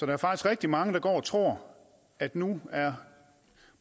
er faktisk rigtig mange der går og tror at nu er